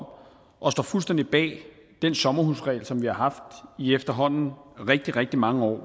og står fuldstændig bag den sommerhusregel som vi har haft i efterhånden rigtig rigtig mange år